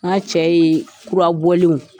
Ŋa cɛ yee kurabɔlenw